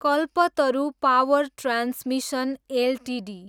Kalpataru power transmission Ltd